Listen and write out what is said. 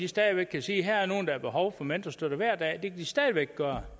stadig væk kan sige her er nogle der har behov for mentorstøtte hver dag det kan de stadig væk gøre